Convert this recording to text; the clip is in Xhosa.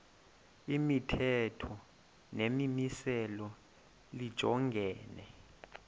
imithetho nemimiselo lijongene